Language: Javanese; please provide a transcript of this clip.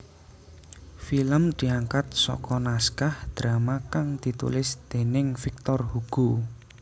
Film diangkat saka naskah drama kang ditulis déning Victor Hugo